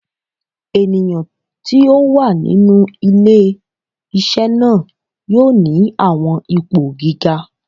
Eniyan ti o wa ninu ile-iṣẹ naa yoo ni awọn ipo giga